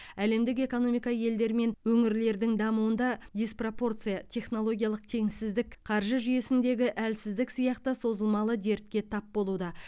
әлемдік экономика елдер мен өңірлердің дамуында диспропорция технологиялық теңсіздік қаржы жүйесіндегі әлсіздік сияқты созылмалы дертке тап болуда